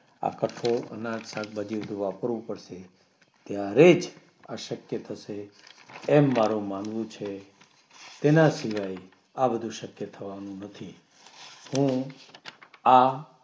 આ કઠોળ અનાજ શાકભાજી બધું વાપરવું પડશે જ્યારેજ આ શક્ય થશે તેમ મારુ માનવું છે તેના સિવાય આ બધું શક્ય થવાનું નથી હું આ